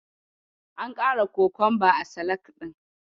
An ƙara kokonba a salak ɗin.